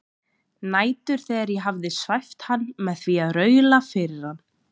Nætur þegar ég hafði svæft hann með því að raula fyrir hann